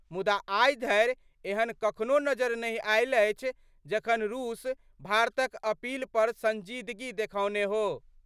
मुदा आइ धरि एहन कखनो नजरि नहि आएल अछि, जखन रूस भारतक अपील पर संजीदगी देखौने हो।